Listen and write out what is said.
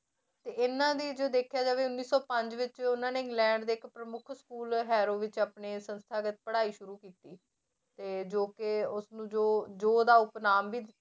ਤੇ ਇਹਨਾਂ ਦੀ ਜੇ ਦੇਖਿਆ ਜਾਵੇ ਉੱਨੀ ਸੌ ਪੰਜ ਵਿੱਚ ਉਹਨਾਂ ਨੇ ਇੰਗਲੈਂਡ ਦੇ ਇੱਕ ਪ੍ਰਮੁੱਖ school ਵਿੱਚ ਆਪਣੇ ਸੰਸਥਾਗਤ ਪੜ੍ਹਾਈ ਸ਼ੁਰੂ ਕੀਤੀ, ਤੇ ਜੋ ਕਿ ਉਸਨੂੰ ਜੋ ਜੋ ਉਹਦਾ ਉਪਨਾਮ ਵੀ